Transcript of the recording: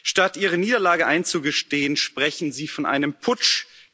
Statt ihre Niederlage einzugestehen, sprechen sie von einem Putsch.